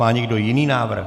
Má někdo jiný návrh?